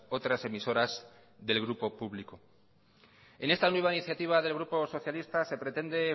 otras emisoras del grupo público en esta nueva iniciativa del grupo socialista se pretende